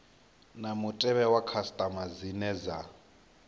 na mutevhe wa khasitama dzine